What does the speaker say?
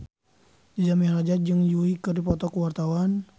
Jaja Mihardja jeung Yui keur dipoto ku wartawan